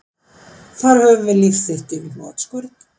Þar höfum við líf þitt í hnotskurn